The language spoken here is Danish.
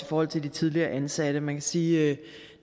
forhold til de tidligere ansatte man kan sige at